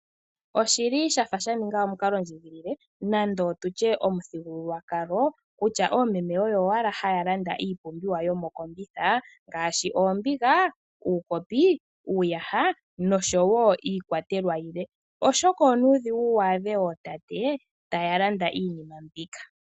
Oshi li shafa sha ninga omukalondjigilile nando tu tye omuthigululwakalo kutya oomeme oyo owala haya landa iipumbiwa yomokombitha ngaashi oombiga, uukopi, uuyaha noshowo iikwatelwa yilwe oshoka onuudhigu waadhe ootate taya landa iinima mbika.